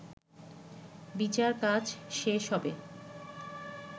বিচারকাজ শেষ হবে